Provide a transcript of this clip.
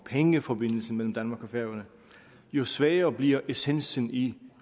pengeforbindelsen mellem danmark og færøerne jo svagere bliver essensen i